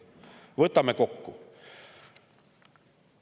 Võtame kokku.